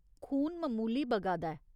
खून ममूली बगा दा ऐ।